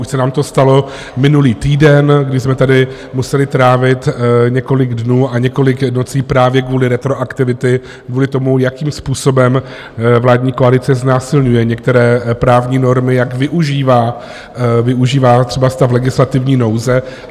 Už se nám to stalo minulý týden, kdy jsme tady museli trávit několik dnů a několik nocí právě kvůli retroaktivitě, kvůli tomu, jakým způsobem vládní koalice znásilňuje některé právní normy, jak využívá třeba stav legislativní nouze.